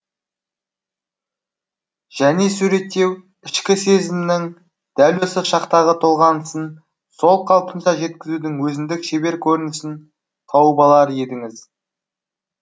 және суреттеу ішкі сезімнің дәл осы шақтағы толғанысын сол қалпынша жеткізудің өзіндік шебер көрінісін тауып алар едіңіз